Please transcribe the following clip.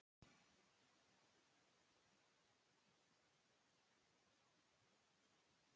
Og það hefði kannski verið honum næg refsing.